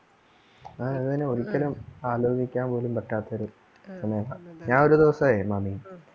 ആ അതുതന്നെ ഒരിക്കലും ആലോചിക്കാൻ പോലും പറ്റാത്ത ഒരു ഞാൻ ഒരുദിവസേ മാമി